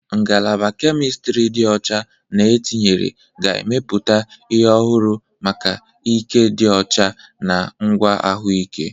Ngalaba Kemistiri dị ọcha na etinyere ga-emepụta ihe ọhụrụ maka ike dị ọcha na ngwa ahụike.